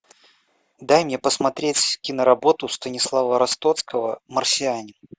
дай мне посмотреть киноработу станислава ростоцкого марсианин